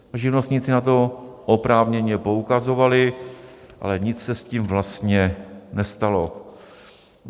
Živnostníci na to oprávněně poukazovali, ale nic se s tím vlastně nestalo.